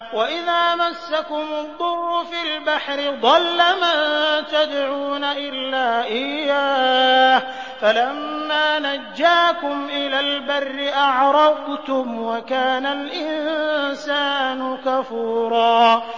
وَإِذَا مَسَّكُمُ الضُّرُّ فِي الْبَحْرِ ضَلَّ مَن تَدْعُونَ إِلَّا إِيَّاهُ ۖ فَلَمَّا نَجَّاكُمْ إِلَى الْبَرِّ أَعْرَضْتُمْ ۚ وَكَانَ الْإِنسَانُ كَفُورًا